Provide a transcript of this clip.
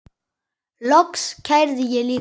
Loks kærði ég líka.